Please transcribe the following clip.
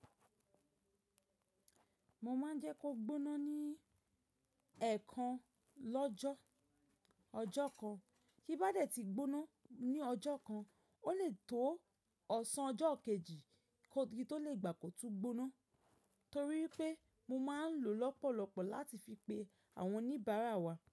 Mo máa ń jẹ́ kó gbóná ní ẹ̀ẹ̀kan lọ́jọ́ ọjọ́ kan. Kí bá dẹ̀ ti gbóná ní ọjọ́ kan, ó lè tó ọ̀sán ọjọ́ kejì kí ó tó lè gbà pe o tuu gbóná. Torí pé mo máa ń lo lọ́pọ̀lọpọ̀ láti fi pe àwọn oníbàárà wa.